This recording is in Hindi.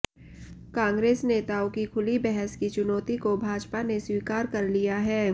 कांग्रेस नेताओं की खुली बहस की चुनौती को भाजपा ने स्वीकार कर लिया है